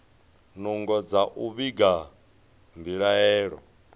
nungo dza u vhiga mbilaelo